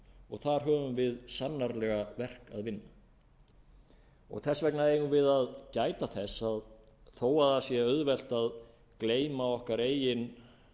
og þar höfum við sannarlega verk að vinna þess vegna eigum við að gæta þess að þó að það sé auðvelt að gleyma okkar eigin